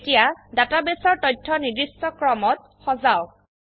এতিয়া ডাটাবেসৰ তথ্য নিৰ্দিষ্ট ক্ৰমত সজাওক